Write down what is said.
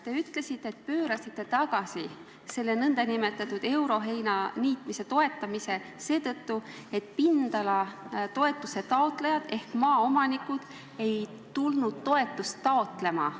Te ütlesite, et pöörasite selle nn euroheinaniitmise toetamise tagasi seetõttu, et pindalatoetuse taotlejad ehk maaomanikud ei tulnud toetust taotlema.